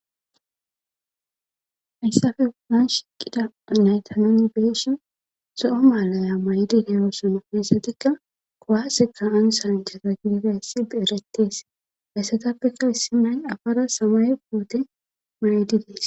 hayssafe wadnan shiiqida anayta noni beesho so7o maalaya maydideyoosona heessatikka kowasekka ansan jirata gididayssierettees hayssatappekka issimay afara samay woote maydi dees